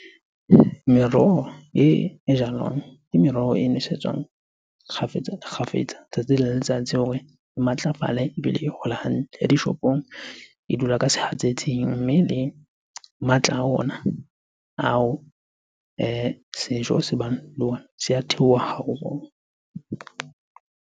Meroho e, e jalwang. Ke meroho e nesetswang kgafetsa-kgafetsa, tsatsi le letsatsi hore e matlafale ebile e hole hantle. Ya dishopong e dula ka sehatsetsing, mme le matla a ona ao sejo se bang le ona se a theoha haholo.